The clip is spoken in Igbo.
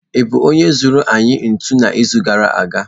I bụ onye zụnara anyị ntu n'izu gara aga?